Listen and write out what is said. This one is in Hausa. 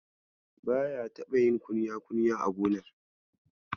Baya taɓa yin kunya-kunya a gonar.